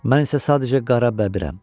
Mən isə sadəcə qara bəbirəm.